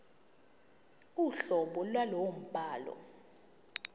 uhlobo lwalowo mbhalo